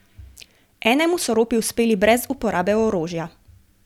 Enemu so ropi uspeli brez uporabe orožja.